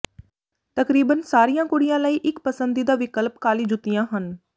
ਤਕਰੀਬਨ ਸਾਰੀਆਂ ਕੁੜੀਆਂ ਲਈ ਇੱਕ ਪਸੰਦੀਦਾ ਵਿਕਲਪ ਕਾਲੀ ਜੁੱਤੀਆਂ ਹਨ